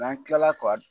N'an tilala ka